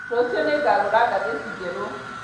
Rũciũ nĩngagũra ngathĩti njerũ